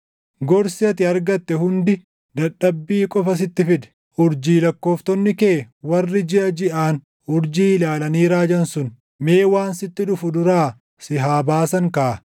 Gorsi ati argatte hundi dadhabbii qofa sitti fide! Urjii lakkooftonni kee warri jiʼa jiʼaan urjii ilaalanii raajan sun, mee waan sitti dhufu duraa si haa baasan kaa.